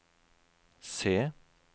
se